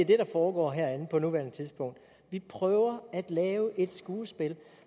der foregår herinde på nuværende tidspunkt vi prøver at lave et skuespil